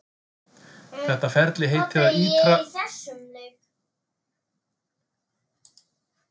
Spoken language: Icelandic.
Þetta ferli heitir að ítra fallið í gefna punktinum.